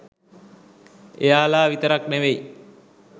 එයාලා විතරක් නෙවෙයි